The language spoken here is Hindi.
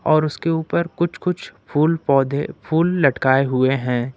और उसके ऊपर कुछ कुछ फूल पौधे फूल लटकाए हुए हैं।